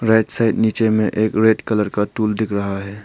Right side नीचे में एक रेड कलर का टूल दिख रहा है।